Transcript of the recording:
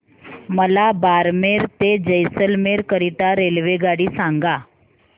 मला बारमेर ते जैसलमेर करीता रेल्वेगाडी सांगा